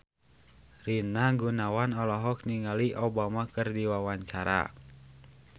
Rina Gunawan olohok ningali Obama keur diwawancara